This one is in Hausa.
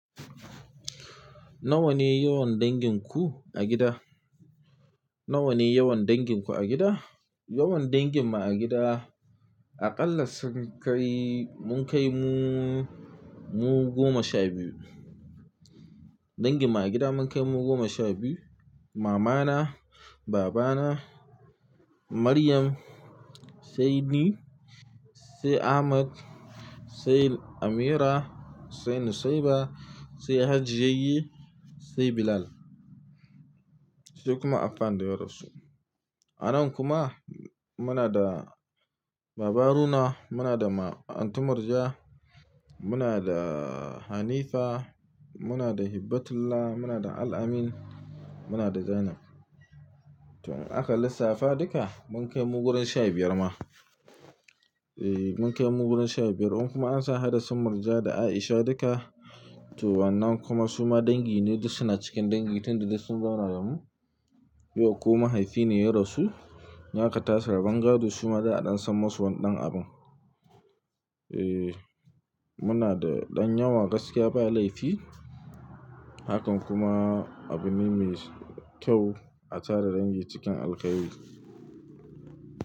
Nawa ne yawan dangin ku a gida? --Nawa ne yawan dangin ku a gida? Yawan dangin mu a gida, a ƙalla sun kai, mun kai mu--mu goma sha biyu. Dangin mu a gida mun kai mu goma sha biyu. Mamana, babana, Maryam, sai ni, sai Ahmad, sai Ameerah, sai Nusaibah, sai Hajiyayye, sai Bilal. Sai kuma Affan da ya rasu. A nan kuma muna da Baba Haruna, muna da ma-- Antu Murja, muna da Hanifa, muna da Hibbatullah, muna da Al-amin, muna da Zainab. To in aka lissafa duka mun kai mu gurin sha biyar ma. Ehh, mun kai mu gurin sha biyar. In kuma har za hada su Murja da Aisha duka. To wannan kuma suma dangi ne, duk suna cikin dangi tun da duk sun zauna da mu. Yau ko mahaifi ne ya rasu, in aka tashi rabon gado, suma da a ɗan san musu wani ɗan abun. Eeh, muna da ɗan yawa gaskiya ba laifi. Hakan kuma abu ne mai kyau a tara dangi cikin alkhairi.